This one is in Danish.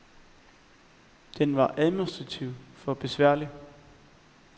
Den var administrativt for besværlig.